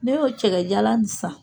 Ne y'o cɛkɛjalan in san